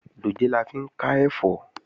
Dòjé la fi ń ká ẹ̀fọ́